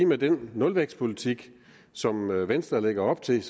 med den nulvækstpolitik som venstre lægger op til